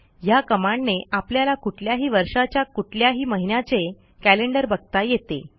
ह्या कमांडने आपल्याला कुठल्याही वर्षाच्या कुठल्याही महिन्याचे कॅलेंडर बघता येते